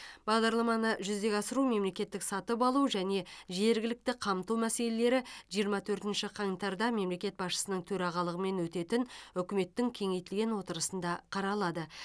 бағдарламаны жүзеге асыру мемлекеттік сатып алу және жергілікті қамту мәселелері жиырма төртінші қаңтарда мемлекет басшысының төрағалығымен өтетін үкіметтің кеңейтілген отырысында қаралады